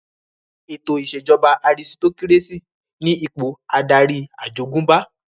Ètò ìṣèjọba àrisitokírésì ní ipò adarí àjogúnbá